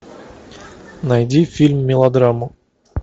найди фильм мелодраму